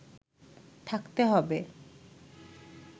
থাকতে হবে